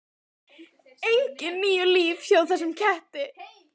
Engin níu líf hjá þessum ketti.